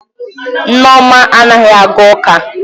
Nneoma anaghi aga uka.